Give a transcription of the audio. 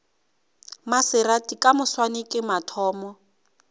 maserati ka moswane ke mathomo